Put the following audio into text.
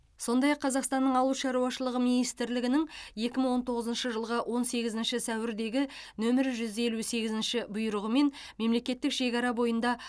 сондай ақ қазақстанның ауыл шаруашылығы министрінің екі мың он тоғызыншы жылғы он сегізінші сәуірдегі нөмірі жүз елу сегізінші бұйрығымен мемлекеттік шекара бойында